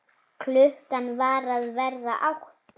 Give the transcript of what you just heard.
Klukkan var að verða átta.